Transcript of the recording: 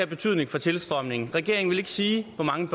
betydning for tilstrømningen regeringen vil ikke sige hvor mange